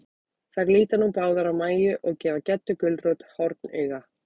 Þær líta nú báðar á Mæju, og gefa Geddu gulrót hornauga.